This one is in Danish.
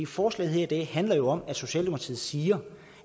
forslaget her i dag handler jo om at socialdemokratiet siger